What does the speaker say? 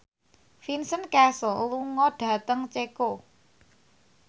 Vincent Cassel lunga dhateng Ceko